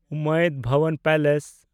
ᱩᱢᱮᱫ ᱵᱷᱚᱵᱚᱱ ᱯᱮᱞᱮᱥ